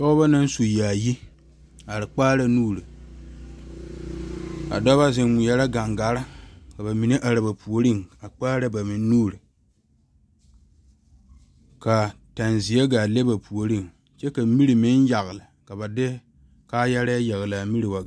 Pɔgeba naŋ su yaayi a are kpaare nuure a dɔɔba zeŋ ŋmɛɛre gangaare ka mine are ba puori a kpaare ba meŋ nuure ka teŋa ziɛ gaa le ba puori kyɛ kaa mire meŋ yagle kyɛ ka ba de kaayare yagle mire wa gaa.